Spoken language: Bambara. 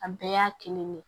A bɛɛ y'a kelen ne